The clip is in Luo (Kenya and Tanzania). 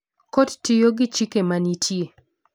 Kot tiyo gi chike ma nitie.